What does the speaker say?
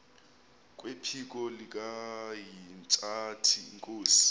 kwephiko likahintsathi inkosi